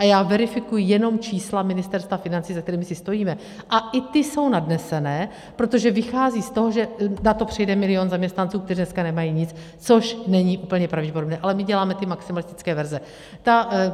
A já verifikuji jenom čísla Ministerstva financí, za kterými si stojíme, a i ta jsou nadnesená, protože vycházejí z toho, že na to přejde milion zaměstnanců, kteří dneska nemají nic, což není úplně pravděpodobné, ale my děláme ty maximalistické verze.